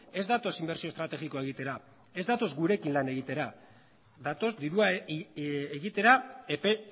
ez datoz inbertsio estrategiko bat egitera ez datoz gurekin lan egiteko datoz dirua egitera epe